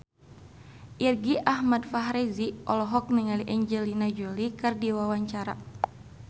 Irgi Ahmad Fahrezi olohok ningali Angelina Jolie keur diwawancara